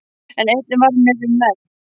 En einnig það varð mér um megn.